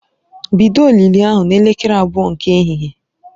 Bido olili ahụ n'elekere abụọ nke ehihie!